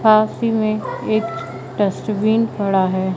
पास ही में एक डस्टबिन पड़ा है।